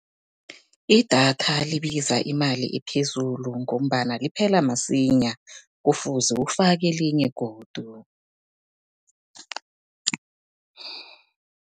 Idatha libiza imali ephezulu, ngombana liphela masinya kufuze ufake elinye godu.